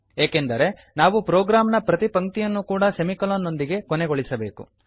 ಏಕೆಂದರೆ ನಾವು ಪ್ರೊಗ್ರಾಮ್ ನ ಪ್ರತಿಪಂಕ್ತಿಯನ್ನು ಕೂಡಾ ಸೆಮಿಕೊಲೊನ್ ನೊಂದಿಗೆ ಕೊನೆಗೊಳಿಸಬೇಕು